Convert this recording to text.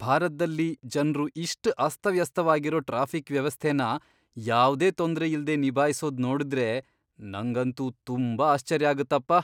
ಭಾರತ್ದಲ್ಲಿ ಜನ್ರು ಇಷ್ಟ್ ಅಸ್ತವ್ಯಸ್ತವಾಗಿರೋ ಟ್ರಾಫಿಕ್ ವ್ಯವಸ್ಥೆನ ಯಾವ್ದೇ ತೊಂದ್ರೆಯಿಲ್ದೇ ನಿಭಾಯ್ಸೋದ್ ನೋಡಿದ್ರೆ ನಂಗಂತೂ ತುಂಬಾ ಆಶ್ಚರ್ಯ ಆಗತ್ತಪ್ಪ.